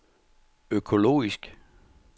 økologisk